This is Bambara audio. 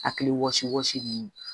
Hakili wɔsi wasigi